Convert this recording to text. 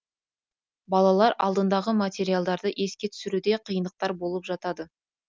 балалар алдындағы материалдарды еске түсіруде қиындықтар болып жатады